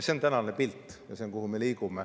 See on tänane pilt ja see, kuhu me liigume.